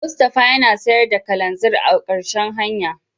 Mustapha yana sayar da kananzir a marshen hanya.